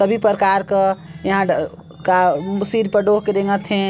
सभी प्रकार का अ यहाँ सिर पर ढो के रेंगत हे।